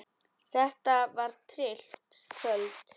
Þetta var tryllt kvöld.